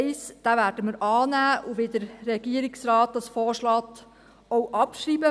Den Punkt 1 werden wir annehmen und, wie es der Regierungsrat vorschlägt, auch abschreiben.